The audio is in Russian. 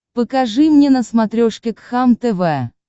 покажи мне на смотрешке кхлм тв